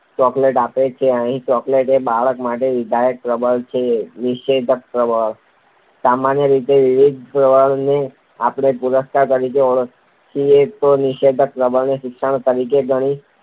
Chocolate આપે છે. અહીં ચોકલેટ એ બાળક માટે વિધાયક પ્રબલન છે. નિષેધક પ્રબલન સામાન્ય રીતે વિધાયક પ્રબલનને આપણે પુરસ્કાર તરીકે ઓળખીએ તો નિષેધક પ્રબલનને શિક્ષા તરીકે ગણાવી